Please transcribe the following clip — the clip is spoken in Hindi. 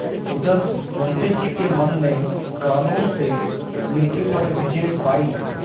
उधर मुंशी जी के मन ने कानून से नीति पर विजय पायी